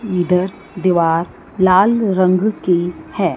इधर दीवार लाल रंग की है।